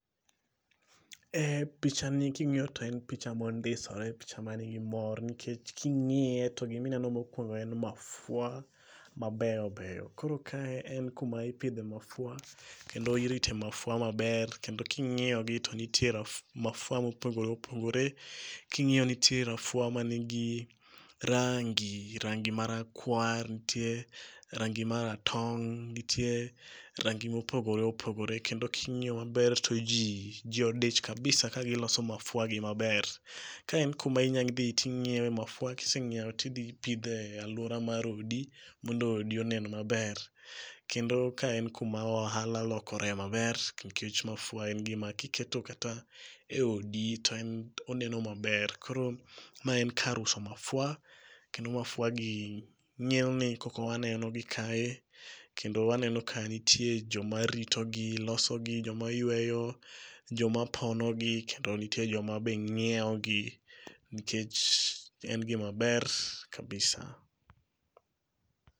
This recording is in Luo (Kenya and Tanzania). Picha ni king'iyo to en picha mondisore, picha manigi mor nikech king'iye to gimineno mokwongo en mafua mabeyo beyo. Koro ka en kuma ipidhe mafua kendo irite mafua maber kendo king'iyogi to nitie mafua mopogore opogore. King'iyo nitie mafua manigi rangi ,to rangi marakwar ,nitie rangi maratong',nitie rangi mopogore opogore, kendo king'iyo maber to ji odich kabisa kagiloso mafuagi maber, ka en kuma inyadhi ting'iewe mafua ,kiseng'iewo tidhi pidho e alwora mar odi, mondo odi onen maber. Kendo ka en kuma ohala lokore maber, nikech mafua en gima kiketo kata e odi, to en oneno maber koro ma en kar uso mafua kendo mafuagi kaka wanenogi kae, kendo waneno ka nitie joma ritogi, losogi, joma yweyo, joma ponogi kendo nitie joma bende ng'iewogi nikech en gimaber kabisa.